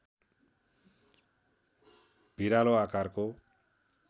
भिरालो आकारको